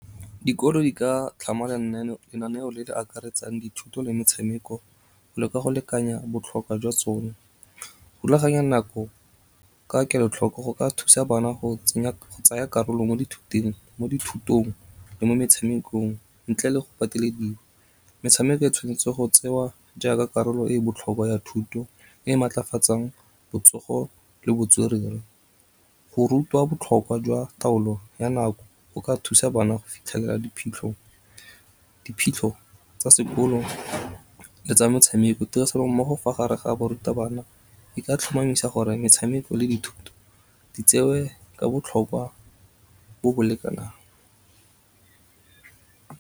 Dikolo di ka tlhama lenaneo le le akaretsang dithuto le metshameko go le ka go lekanya botlhokwa jwa tsone. Go rulaganya nako ka kelotlhoko go ka thusa bana go tsaya karolo mo dithutong le mo metshamekong ntle le go patelediwa. Metshameko e tshwanetse go tsewa jaaka karolo e botlhokwa ya thuto e maatlafatsang botsogo le botswerere. Go rutwa botlhokwa jwa taolo ya nako go ka thusa bana go fitlhelela diphitlho tsa sekolo le tsa metshameko. Tirisano-mmogo fa gare ga barutabana e ka tlhomamisa gore metshameko le dithuto di tsewe ka botlhokwa bo bo lekanang.